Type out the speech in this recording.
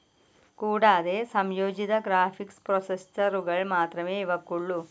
കൂടാതെ, സംയോജിത ഗ്രാഫിക്സ്‌ പ്രോസസ്സറുകൾ മാത്രമേ ഇവക്കുള്ളൂ.